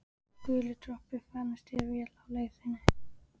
Guli dropi, farnist þér vel á leið þinni.